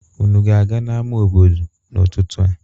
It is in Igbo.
Unu ga-aga n'ama obodo n'ụtụtụ a?